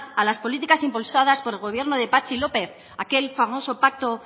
a las políticas impulsadas por el gobierno de patxi lópez aquel famoso pacto